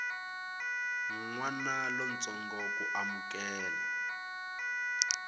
n wana lontsongo ku amukela